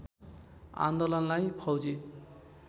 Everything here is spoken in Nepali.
आन्दोलनलाई फौजी